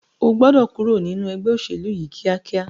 O gbọ́dọ̀ kúrò nínu ẹgbẹ́ òṣèlú yìí ní kíákíá!